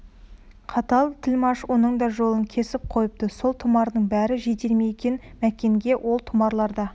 қатал тілмаш оның да жолын кесіп қойыпты сол тұмардың бәрі жетер ме екен мәкенге ол тұмарларда